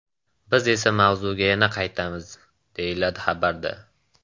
Biz esa mavzuga yana qaytamiz”, deyiladi xabarda.